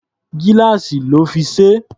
Gíláàsì lọ́ fi ṣe é.